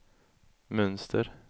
mönster